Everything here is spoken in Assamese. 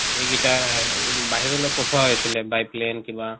এইগিটা আহ বাহিৰলৈ পঠোৱা হৈছিলে by plane কিবা